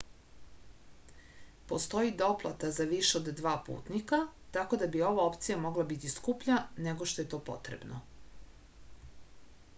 postoji doplata za više od 2 putnika tako da bi ova opcija mogla biti skuplja nego što je to potrebno